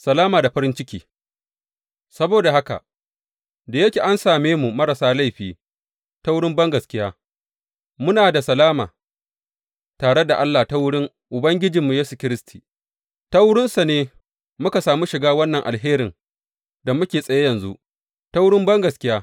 Salama da farin ciki Saboda haka, da yake an same mu marasa laifi ta wurin bangaskiya, muna da salama tare da Allah ta wurin Ubangijinmu Yesu Kiristi, ta wurinsa ne muka sami shiga wannan alherin da muke tsaye yanzu, ta wurin bangaskiya.